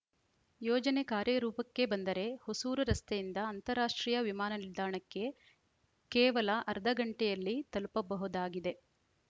ಯೋಜನೆ ಕಾರ್ಯರೂಪಕ್ಕೆ ಬಂದರೆ ಹೊಸೂರು ರಸ್ತೆಯಿಂದ ಅಂತಾರಾಷ್ಟ್ರೀಯ ವಿಮಾನ ನಿಲ್ದಾಣಕ್ಕೆ ಕೇವಲ ಅರ್ಧಗಂಟೆಯಲ್ಲಿ ತಲುಪಬಹುದಾಗಿದೆ